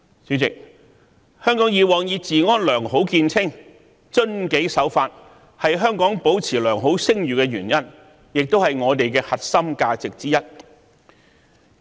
主席，香港過往以治安良好見稱，遵紀守法是香港保持良好聲譽的原因，亦是我們的核心價值之一。